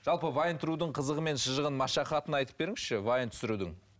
жалпы вайн қызығы мен шыжығын машақатын айтып беріңізші вайн түсірудің